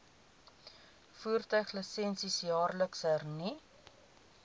voertuiglisensie jaarliks hernu